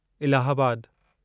इलाहाबादु